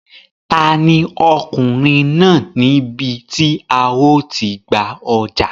Ta ni Ọkùnrin náà ní ibi tí a ó ti gba ọjà?